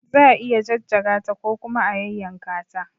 Za a iya jajjaga ta ko kuma a yayyanka ta.